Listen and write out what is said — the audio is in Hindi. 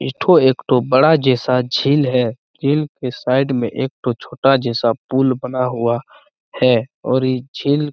एठों एक ठो बड़ा जैसा झील है झील के साइड मे एक ठो छोटा जैसा पुल बना हुआ है और ये झील--